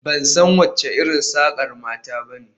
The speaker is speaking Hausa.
Ban san wace irin sakar mata ba ne